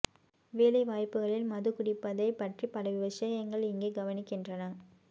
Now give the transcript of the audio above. வேலை வாய்ப்புகளில் மது குடிப்பதைப் பற்றி பல விஷயங்கள் இங்கே கவனிக்கின்றன